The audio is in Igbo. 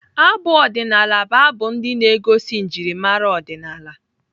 Abụ ọdịnaala bụ abụ ndị na-egosi njimara ọdịnaala.